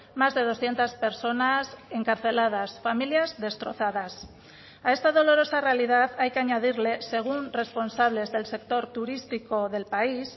más de doscientos personas encarceladas familias destrozadas a esta dolorosa realidad hay que añadirle según responsables del sector turístico del país